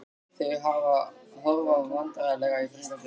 Þau horfa vandræðalega í kringum sig.